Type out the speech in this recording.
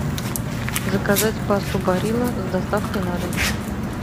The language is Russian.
заказать пасту барилла с доставкой на дом